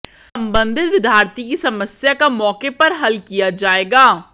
सम्बन्धित विद्यार्थी की समस्या का मौके पर हल किया जाएगा